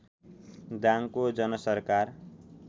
दाङको जनसरकार